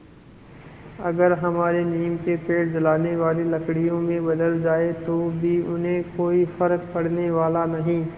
अगर हमारे नीम के पेड़ जलाने वाली लकड़ियों में बदल जाएँ तो भी उन्हें कोई फ़र्क पड़ने वाला नहीं